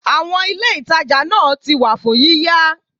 Àwọn Ilé ìtajà náà ti wà fún yíyá.